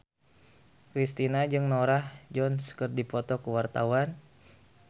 Kristina jeung Norah Jones keur dipoto ku wartawan